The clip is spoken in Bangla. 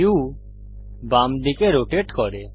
ভিউ বামদিকে রোটেট করে